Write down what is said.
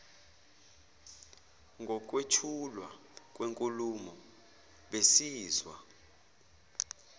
ngokwethulwa kwenkulumo besizwa